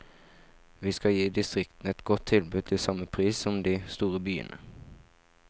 Vi skal gi distriktene et godt tilbud til samme pris som de store byene.